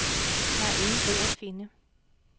Der er ingen ro at finde.